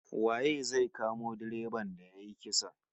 Waye zai kamo direban da yayi kisan?